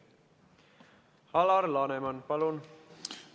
Alar Laneman, palun!